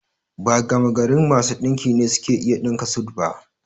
Ba gamagarin masu ɗinki ne suke iya ɗinka sut ba